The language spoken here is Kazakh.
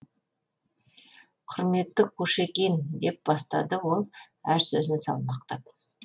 құрметті кушекин деп бастады ол әр сөзін салмақтап